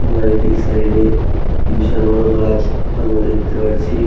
এটির সাইড এ বিশাল বড় গাছ আমরা দেখতে পারছি।